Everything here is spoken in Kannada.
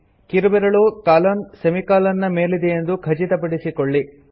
ಕಿರುಬೆರಳು ಕಾಲನ್ಸೆಮಿಕಾಲನ್ ನ ಮೇಲಿದೆಯೆಂದು ಖಚಿತಪಡಿಸಿಕೊಳ್ಳಿ